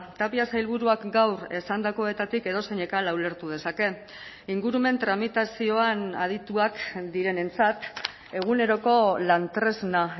tapia sailburuak gaur esandakoetatik edozeinek hala ulertu dezakeen ingurumen tramitazioan adituak direnentzat eguneroko lan tresna